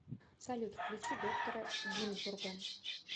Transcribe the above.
салют включи доктора гинзбурга